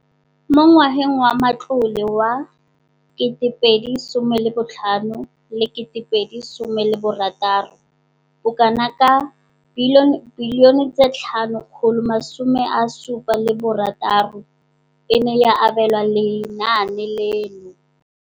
Mo ngwageng wa matlole wa 2015,16, bokanaka R5 703 bilione e ne ya abelwa lenaane leno.